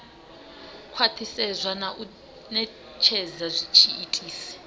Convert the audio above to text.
khwathisedzwa na u netshedza tshiitisi